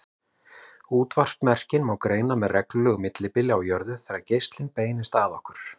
Útvarpsmerkin má greina með reglulegu millibili á jörðu þegar geislinn beinist að okkur.